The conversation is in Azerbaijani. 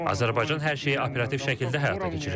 Azərbaycan hər şeyi operativ şəkildə həyata keçirir.